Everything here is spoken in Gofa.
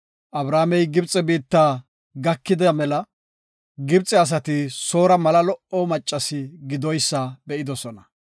Abramey Gibxe biitta gakida mela Gibxe asati Soora mala lo77o maccasi gidoysa be7idosona.